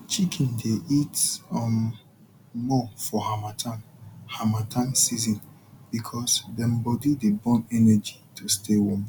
chicken dey eat um more for harmattan harmattan season because dem body dey burn energy to stay warm